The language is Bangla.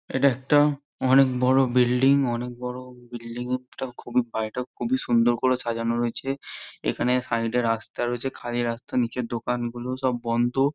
এটা একটা অনেক বড়ো বিল্ডিং অনেক বড়ো বিল্ডিং -টাও খুবই বাড়িটা খুবই সুন্দর করে সাজানো রয়েছে এখানে সাইডে রাস্তা রয়েছে খালি রাস্তা নিচে দোকান গুলো সব বন্দ।